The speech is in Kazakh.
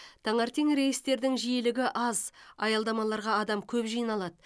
таңертең рейстердің жиілігі аз аялдамаларға адам көп жиналады